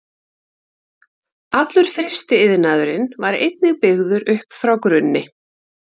Allur frystiiðnaðurinn var einnig byggður upp frá grunni.